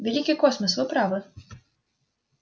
великий космос вы правы